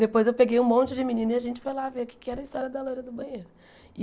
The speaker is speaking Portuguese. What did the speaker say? Depois eu peguei um monte de menina e a gente foi lá ver o que é que era a história da loira do banheiro.